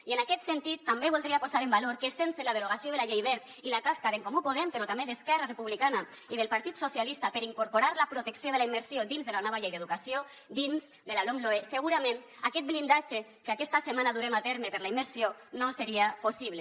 i en aquest sentit també voldria posar en valor que sense la derogació de la llei wert i la tasca d’en comú podem però també d’esquerra republicana i del partit socialistes per incorporar la protecció de la immersió dins de la nova llei d’educació dins de la lomloe segurament aquest blindatge que aquesta setmana durem a terme per a la immersió no seria possible